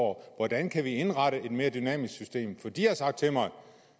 hvordan kan vi indrette et mere dynamisk system for de har sagt til mig